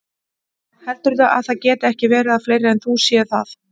Heldurðu að það geti ekki verið að fleiri en þú séu það?